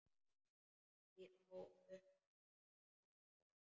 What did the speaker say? Og á uppboð.